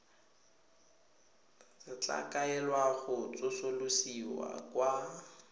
tla kaelwa go tsosolosiwa kwa